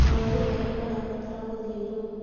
Arũara arĩa marabatara gũthĩnjwo